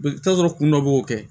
I bɛ taa sɔrɔ kun dɔ b'o kɛ